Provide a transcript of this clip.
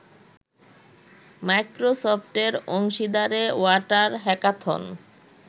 মাইক্রোসফটের অংশীদারে water hackathon